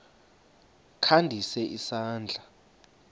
kha ndise isandla